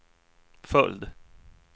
följd